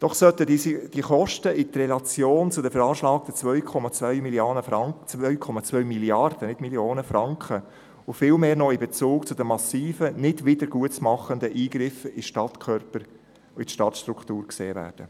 Doch sollten diese Kosten in Relation zu den veranschlagten 2,2 Mrd. Franken, und vielmehr noch in Relation zu den massiven, nicht wiedergutzumachenden Eingriffen in den Stadtkörper und in die Stadtstruktur gesehen werden.